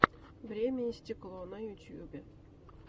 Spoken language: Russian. время и стекло на ютьюбе